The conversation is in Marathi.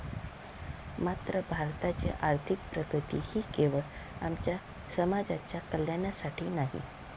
मात्र भारताची आर्थिक प्रगती ही केवळ आमच्या समाजाच्या कल्याणासाठी नाही.